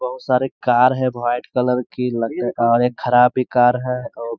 बहोत सारे कार है व्हॉइट कलर की लगता है और एक खराब भी कार है और --